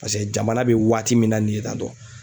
Paseke jamana bɛ waati min na nin ye tan tɔ.